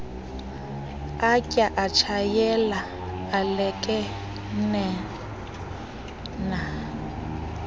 atya atshayela alekenea